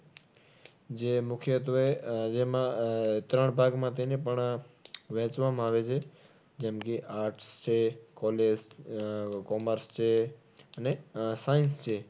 જે મુખ્યત્વે આહ જેમાં આહ ત્રણ ભાગમાં તેને પણ વહેંચવામાં આવે છે. જેમકે, arts છે college, આહ commerce છે અને આહ science છે.